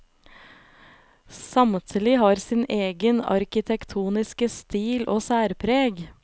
Samtlige har sin egen arkitektoniske stil og særpreg.